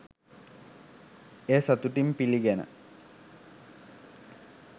එය සතුටින් පිළිගෙන